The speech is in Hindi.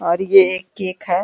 और ये एक केक हैं।